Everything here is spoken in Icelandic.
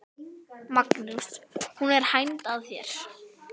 Magnús: Hún er hænd að þér?